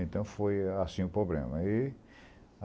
Então foi assim o problema. E